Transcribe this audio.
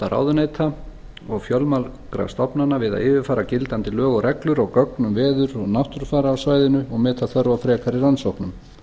ráðuneyta og fjölmargra stofnana við að yfirfæra gildandi lög og reglur og gögn um veður og náttúrufar á svæðinu og meta þörf á frekari rannsóknum